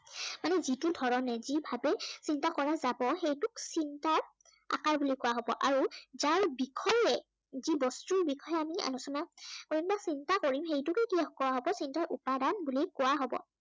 আৰু যিটো ধৰনে, যি ভাবে চিন্তা কৰা যাব সেইটোক চিন্তাৰ আকাৰ বুলি কোৱা হব। আৰু যাৰ বিষয়ে যি বস্তুৰ বিষয়ে আমি আলোচনা কৰিম বা চিন্তা কৰিম সেইটোক কি বুলি কোৱা হব, তাক চিন্তাৰ উপাদান বুলি কোৱা হয়।